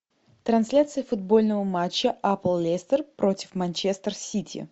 трансляция футбольного матча апл лестер против манчестер сити